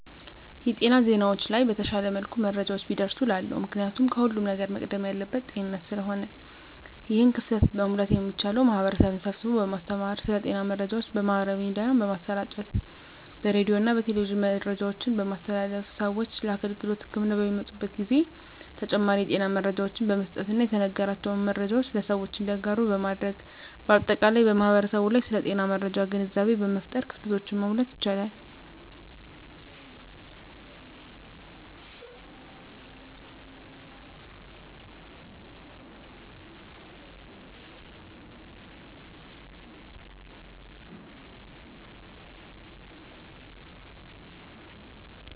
የጤና ዜናዎች ላይ በተሻለ መልኩ መረጃዎች ቢደርሱ እላለሁ። ምክንያቱም ከሁለም ነገር መቅደም ያለበት ጤንነት ስለሆነ ነው። ይህን ክፍተት መሙላት የሚቻለው ማህበረሰብን ስብስቦ በማስተማር ስለ ጤና መረጃዎች በማህበራዊ ሚዲያ በማሰራጨት በሬዲዮና በቴሌቪዥን መረጃዎችን በማስተላለፍ ስዎች ለህክምና አገልግሎት በሚመጡበት ጊዜ ተጨማሪ የጤና መረጃዎችን በመስጠትና የተነገራቸውን መረጃዎች ለሰዎች እንዲያጋሩ በማድረግ በአጠቃላይ በማህበረሰቡ ላይ ስለ ጤና መረጃ ግንዛቤ በመፍጠር ክፍተቶችን መሙላት ይቻላል።